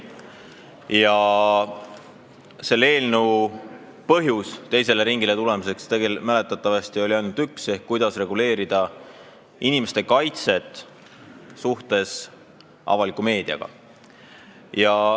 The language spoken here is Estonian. Põhjusi, miks see eelnõu teisele ringile on tulnud, on mäletatavasti ainult üks: see, kuidas reguleerida inimeste kaitset suhetes avaliku meediaga.